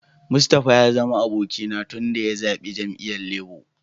Mustapha ya zama abokina tun daya zabbe jami'yyan Labour.